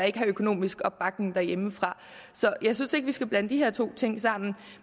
ikke har økonomisk opbakning hjemmefra så jeg synes ikke vi skal blande de her to ting sammen